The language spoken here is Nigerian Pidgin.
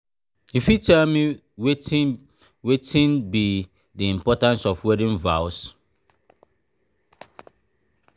you fit tell me wetin me wetin be di importance of wedding vows?